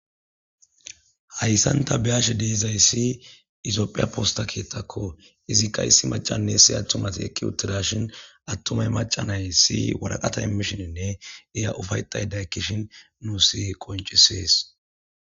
Haysan ta be'ashe dizaysi toophiya posta keeththakko izikka issi addenne maccay ewutiarshin atumay mačča nayees waraqata immishininne iya ufatayda ekkishin besees.